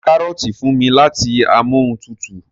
ṣe o mú karọọti fún mí láti Amóhuntutù?